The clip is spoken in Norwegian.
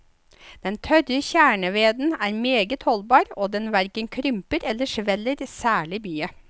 Den tørre kjerneveden er meget holdbar, og den hverken krymper eller sveller særlig mye.